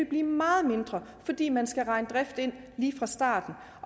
blive meget mindre fordi man skal regne driften ind lige fra starten